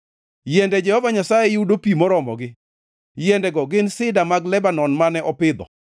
Yiende Jehova Nyasaye yudo pi moromogi, yiendego gin sida mag Lebanon mane opidho.